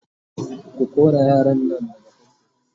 ko kora yaran Nan daga fanfo!